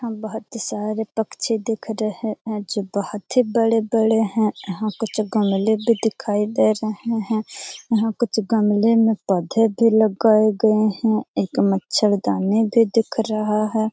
हां बहुत सारे पक्षी दिख रहे हैं जो की बहुत ही बड़े-बड़े हैं यहां कुछ गमले भी दिखाई दे रहे हैं यहां कुछ गमले में पौधे भी लगाए गए हैं एक मच्छरदानी भी दिख रहा है।